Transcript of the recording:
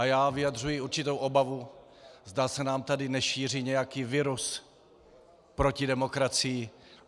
A já vyjadřuji určitou obavu, zda se nám tady nešíří nějaký virus proti demokracii.